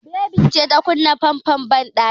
Baby ce ta kunna famfon banɗakin.